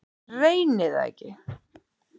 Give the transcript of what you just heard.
Reyni það ekki.